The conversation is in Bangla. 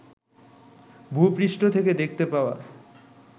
ভূপৃষ্ঠ থেকে দেখতে পাওয়া